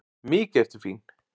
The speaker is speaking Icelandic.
Mikið ertu fín!